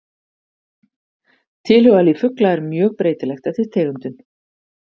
Tilhugalíf fugla er mjög breytilegt eftir tegundum.